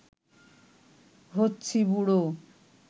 হচ্ছি বুড়ো